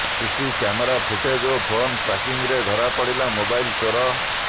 CC camera footage ଓ phone tracking ରେ ଧରାପଡିଲା ମୋବାଇଲ ଚୋର